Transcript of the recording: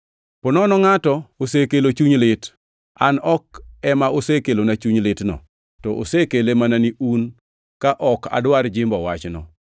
Ponono ngʼato osekelo chuny lit, an ok ema osekelona chuny litno, to osekele mana ni un, ka ok adwar jimbo wachno.